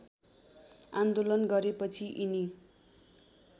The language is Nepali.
आन्दोलन गरेपछि यिनी